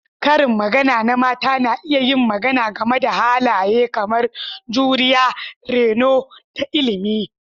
Karin magana na mata na iya yin magana game da halaye kamar juriya, reno, da ilimi.